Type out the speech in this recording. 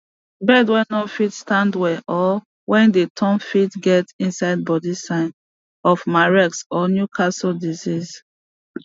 bird way no dey fit stand well or way dey turn fit get inside body sign of mareks or newcastle disease